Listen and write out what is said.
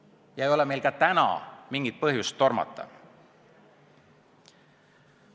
Ja ei ole meil ka täna mingit põhjust tormata.